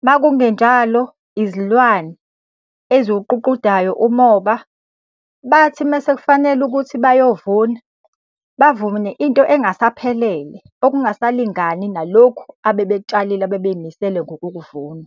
Uma kungenjalo izilwane eziwuququdayo umoba. Bathi uma sekufanele ukuthi bayovuna, bavune into engasaphelele, okungasalingani nalokhu abebekutshalile abebey'misele ngokukuvuna.